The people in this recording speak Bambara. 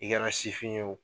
I kɛra sifin ye o